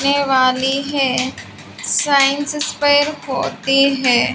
ने वाली है साइंस होती हैं।